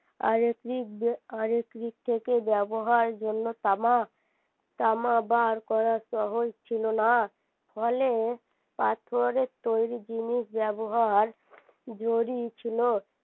আরেক আরেক দিক থেকে ব্যবহার জন্য তামা তামা বার করা সহজ ছিলোনা ফলে পাথরের তৈরী জিনিস ব্যবহার ছিল